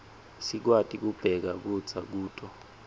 sikwati kubeka kudza kuto